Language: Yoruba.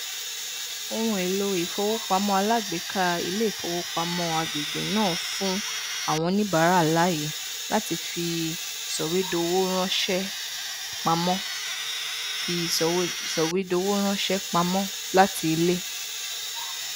ohunèlò ìfowópamọ alágbèéká ilé ìfowópamọ agbègbè náà fún àwọn oníbàárà láàyè láti fi sọwédowó ránṣẹpamọ fi sọwédowó ránṣẹpamọ láti ilé